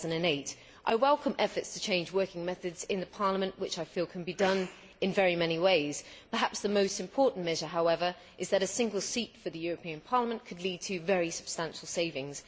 2008. I welcome efforts to change working methods in Parliament, which I feel can be done in very many ways. Perhaps the most important measure, however, is that a single seat for the European Parliament could lead to very substantial savings.